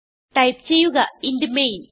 type ചെയ്യുക int main